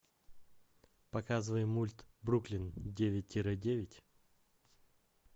показывай мульт бруклин девять тире девять